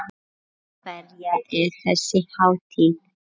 Fyrir hverja er þessi hátíð?